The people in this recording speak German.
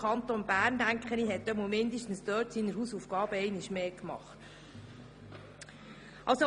Ich denke, dass zumindest bezogen auf dieses Beispiel der Kanton Bern seine Hausaufgaben einmal mehr gemacht hat.